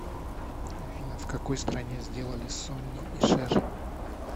афина в какой стране сделали сонни и шэр